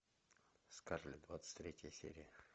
скарлетт двадцать третья серия